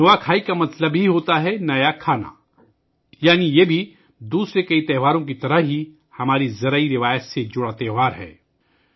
نوا کھائی کا مطلب ہوتا ہے ، نیا کھانا یعنی یہ بھی بہت سے دوسرے تہواروں کی طرح ہماری زرعی روایت سے جڑا ایک تہوار ہے